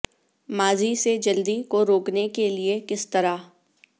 ماضی سے جلدی کو روکنے کے لئے کس طرح